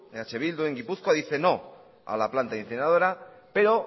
eh bildu en gipuzkoa dice no a la planta incineradora pero